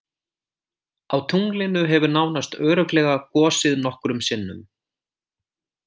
Á tunglinu hefur nánast örugglega gosið nokkrum sinnum.